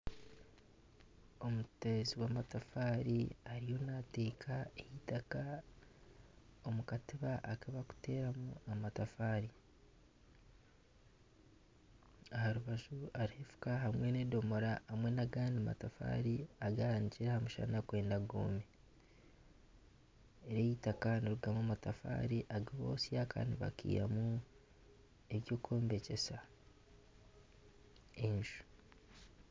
Omuteezi w'amatafaari ariyo naateeka itaka omu katiba aku barikuteereramu amatafaari aha rubaju hariho efuka hamwe nana agandi matafaari aganikire aha mushana kwenda ngu goome, eri eitaka niririgamu amatafaari agu barikwotsya kandi nibagihamu eky'okwombekyesa enju